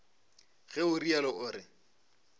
ge o realo o re